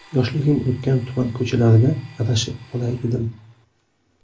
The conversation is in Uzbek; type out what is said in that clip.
Yoshligim o‘tgan tuman ko‘chalarida adashib qolay dedim.